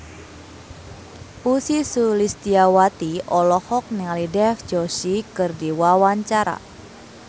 Ussy Sulistyawati olohok ningali Dev Joshi keur diwawancara